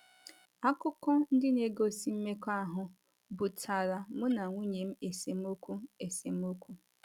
Akụkọ ndị na - egosi mmekọahụ butaara mụ na nwunye m esemokwu esemokwu.